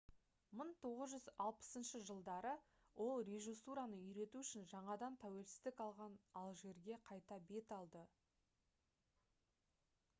1960 жылдары ол режиссураны үйрету үшін жаңадан тәуелсіздік алған алжирге қайта бет алды